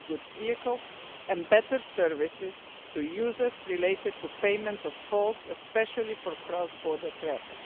goods vehicles and better services to users related to payment of tolls, especially for cross border traffic.